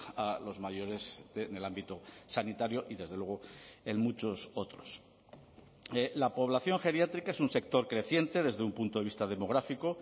a los mayores en el ámbito sanitario y desde luego en muchos otros la población geriátrica es un sector creciente desde un punto de vista demográfico